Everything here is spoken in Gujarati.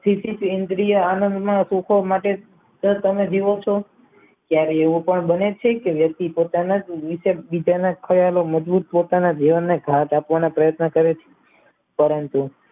સીધી કેન્દ્રીય આનંદમાં સુકવા માટે તો જ તમે જીવો છો ક્યારે એવું પણ બને છે કે વ્યક્તિ પોતાના ની બીજાના ખયાલોમાં મજબૂત પોતાના જીવનને ભાર કાપવાનો પ્રયત્ન કરે છે પરંતુ